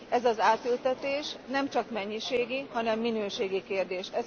Ez az átültetés nemcsak mennyiségi, hanem minőségi kérdés.